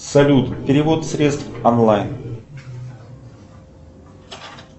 салют перевод средств онлайн